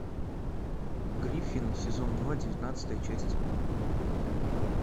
гриффины сезон два девятнадцатая часть